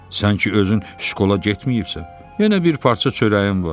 Sən ki özün şkola getməyibsən, yenə bir parça çörəyin var.